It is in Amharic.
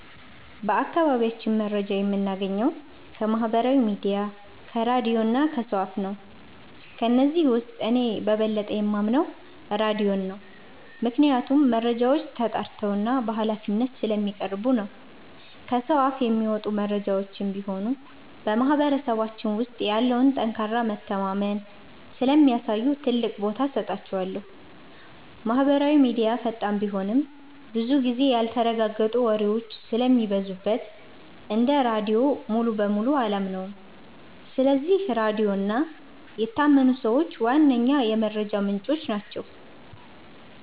በአካባቢያችን መረጃ የምናገኘው ከማህበራዊ ሚዲያ፣ ከራድዮ እና ከሰው አፍ ነው። ከነዚህም ውስጥ እኔ በበለጠ የማምነው ራድዮን ነው፤ ምክንያቱም መረጃዎች ተጣርተውና በሃላፊነት ስለሚቀርቡ ነው። ከሰው አፍ የሚመጡ መረጃዎችም ቢሆኑ በማህበረሰባችን ውስጥ ያለውን ጠንካራ መተማመን ስለሚያሳዩ ትልቅ ቦታ እሰጣቸዋለሁ። ማህበራዊ ሚዲያ ፈጣን ቢሆንም፣ ብዙ ጊዜ ያልተረጋገጡ ወሬዎች ስለሚበዙበት እንደ ራድዮ ሙሉ በሙሉ አላምነውም። ስለዚህ ራድዮ እና የታመኑ ሰዎች ዋነኛ የመረጃ ምንጮቼ ናቸው።